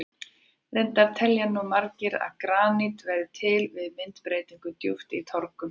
Reyndar telja nú margir að granít verði til við myndbreytingu djúpt í trogum.